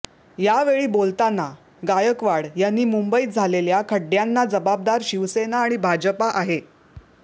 यावेळी बोलताना गायकवाड यांनी मुंबईत झालेल्या खड्ड्यांना जबाबदार शिवसेना आणि भाजपा आहे